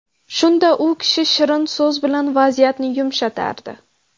Shunda u kishi shirin so‘z bilan vaziyatni yumshatardi.